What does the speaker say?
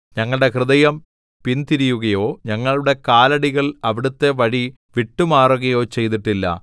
ഞങ്ങളുടെ ഹൃദയം പിന്തിരിയുകയോ ഞങ്ങളുടെ കാലടികൾ അവിടുത്തെ വഴി വിട്ടുമാറുകയോ ചെയ്തിട്ടില്ല